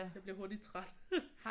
Jeg bliver hurtigt træt